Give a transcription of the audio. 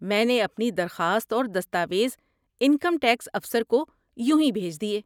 میں نے اپنی درخواست اور دستاویز انکم ٹیکس افسر کو یونہی بھیج دیے۔